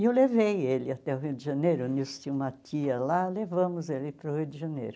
E eu o levei ele até o Rio de Janeiro, o Nilson tinha uma tia lá, levamos ele para o Rio de Janeiro.